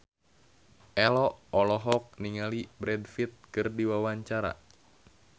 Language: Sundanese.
Ello olohok ningali Brad Pitt keur diwawancara